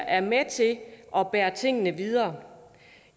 er med til at bære tingene videre